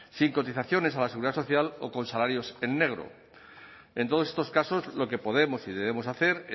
sin cotizaciones a la seguridad social o con salarios en negro en todos estos casos lo que podemos y debemos hacer